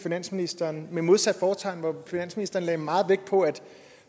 finansministeren med modsat fortegn hvor finansministeren lagde meget vægt på at